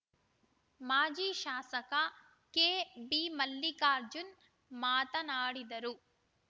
ಮಾಜಿ ಶಾಸಕ ಕೆಬಿ ಮಲ್ಲಿಕಾರ್ಜುನ್‌ ಮಾತನಾಡಿದರು